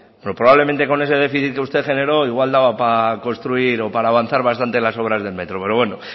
pero probablemente con ese déficit que usted generó igual daba para construir o para avanzar bastante en las obras del metro pero bueno